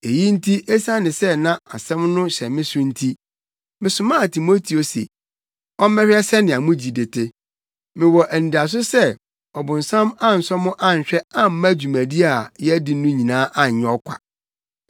Eyi nti esiane sɛ na asɛm no hyɛ me so nti, mesomaa Timoteo se ɔmmɛhwɛ sɛnea mo gyidi te. Mewɔ anidaso sɛ ɔbonsam ansɔ mo anhwɛ amma dwuma a yɛadi no nyinaa anyɛ ɔkwa.